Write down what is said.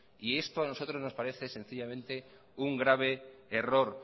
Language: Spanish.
esto a nosotros nos parece sencillamente un grave error